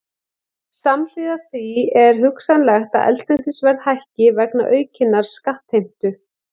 Samhliða því er hugsanlegt að eldsneytisverð hækki vegna aukinnar skattheimtu.